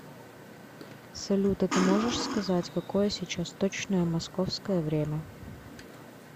салют а ты можешь сказать какое сейчас точное московское время